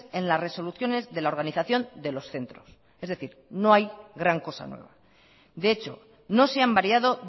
en las resoluciones de la organización de los centros es decir no hay gran cosa nueva de hecho no se han variado